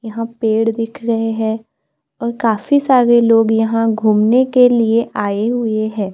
यहां पेड़ दिख रहे हैं और काफी सारे लोग यहां घूमने के लिए आए हुए हैं।